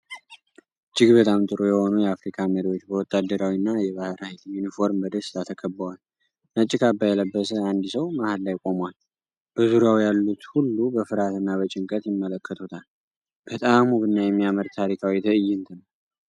እጅግ በጣም ጥሩ የሆኑ የአፍሪካ መሪዎች በወታደራዊና የባህር ኃይል ዩኒፎርም በደስታ ተከበዋል። ነጭ ካባ የለበሰ አንድ ሰው መሃል ላይ ቆሟል፤ በዙሪያው ያሉት ሁሉ በፍርሃትና በጭንቀት ይመለከቱታል። በጣም ውብና የሚያምር ታሪካዊ ትዕይንት ነው።